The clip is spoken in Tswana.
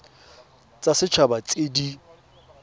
tsa set haba tse di